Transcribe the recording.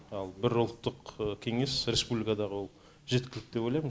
ал бір ұлттық кеңес республикадағы ол жеткілікті деп ойлаймын